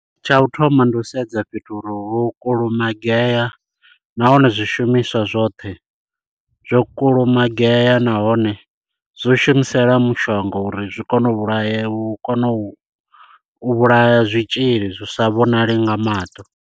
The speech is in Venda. Tsha u thoma ndi u sedza fhethu uri ho kulumagea nahone zwishumiswa zwoṱhe zwo kulumagea, nahone zwo shumisela mushonga uri zwi kone u vhulaya u kone u u vhulaya zwitzhili zwi sa vhonali nga maṱo.